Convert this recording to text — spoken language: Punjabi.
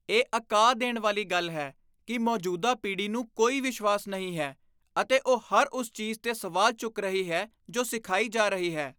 ਇਹ ਅਕਾ ਦੇਣ ਵਾਲੀ ਗੱਲ ਹੈ ਕਿ ਮੌਜੂਦਾ ਪੀੜ੍ਹੀ ਨੂੰ ਕੋਈ ਵਿਸ਼ਵਾਸ ਨਹੀਂ ਹੈ ਅਤੇ ਉਹ ਹਰ ਉਸ ਚੀਜ਼ 'ਤੇ ਸਵਾਲ ਚੁੱਕ ਰਹੀ ਹੈ ਜੋ ਸਿਖਾਈ ਜਾ ਰਹੀ ਹੈ।